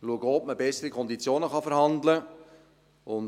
– Wir schauen auch, ob man bessere Konditionen aushandeln kann.